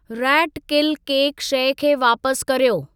rate किल केक शइ खे वापस कर्यो